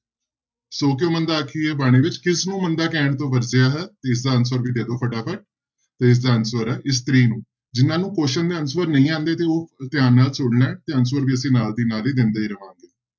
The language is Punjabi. ਸੌ ਕਿਉਂ ਮੰਦਾ ਆਖੀਐ ਬਾਣੀ ਵਿੱਚ ਕਿਸਨੂੰ ਮੰਦਾ ਕਹਿਣ ਤੋਂ ਵਰਜਿਆ ਹੈ ਤੇ ਇਸਦਾ answer ਵੀ ਦੇ ਦਓ ਫਟਾਫਟ, ਤੇ ਇਸਦਾ answer ਹੈ ਇਸਤਰੀ ਨੂੰ, ਜਿਹਨਾਂ ਨੂੰ question ਦੇ answer ਨਹੀਂ ਆਉਂਦੇ ਤੇ ਉਹ ਧਿਆਨ ਨਾਲ ਸੁਣ ਲੈਣ ਤੇ answer ਵੀ ਅਸੀਂ ਨਾਲ ਦੀ ਨਾਲ ਹੀ ਦਿੰਦੇ ਰਵਾਂਗੇ।